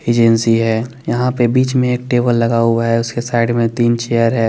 Agency है यहा पे बिच में एक टेबल लगा हुआ है उसके साइड में तीन चेयर है।